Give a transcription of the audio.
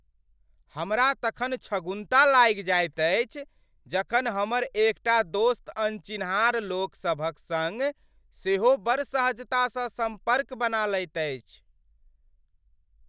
हमरा तखन छगुन्ता लागि जाइत अछि जखन हमर एकटा दोस्त अनचिन्हार लोक सभक सङ्ग सेहो बड़ सहजतासँ सम्पर्क बना लैत अछि।